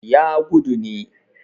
ya gudu ne